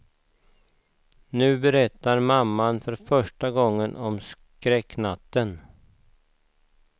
Nu berättar mamman för första gången om skräcknatten.